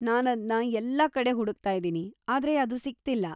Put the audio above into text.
ನಾನದ್ನ ಎಲ್ಲಾ ಕಡೆ ಹುಡುಕ್ತಾಯಿದೀನಿ ಆದ್ರೆ ಅದು ಸಿಗ್ತಿಲ್ಲ.